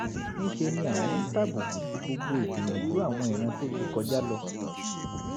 ní í ṣe ni àwọn ń tàbùkù sí gbogbo ìgbìyànjú àwọn ìran tó ti kọjá lọ